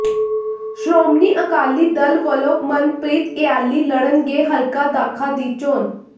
ਸ਼੍ਰੋਮਣੀ ਅਕਾਲੀ ਦਲ ਵੱਲੋਂ ਮਨਪ੍ਰੀਤ ਇਆਲੀ ਲੜਨਗੇ ਹਲਕਾ ਦਾਖਾ ਦੀ ਚੋਣ